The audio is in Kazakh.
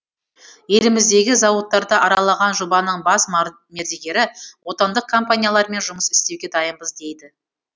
еліміздегі зауыттарды аралаған жобаның бас мердігері отандық компаниялармен жұмыс істеуге дайынбыз дейді